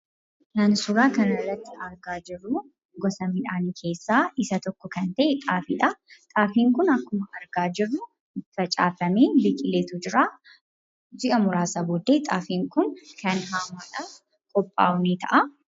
Kan suuraa kanarratti argaa jirru gosa midhaanii keessaa isa tokko kan ta'e xaafiidha. Xaafiin kun akkuma argaa jirru facaafamee biqileetu jira. Ji'a muraasaan booddee xaafiin kun kan haamamee dhahamu ta'a.